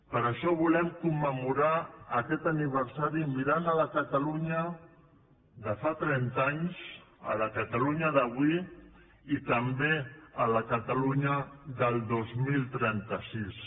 per això volem commemorar aquest aniversari mirant la catalunya de fa trenta anys la catalunya d’avui i també la catalunya del dos mil trenta sis